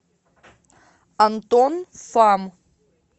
антон фам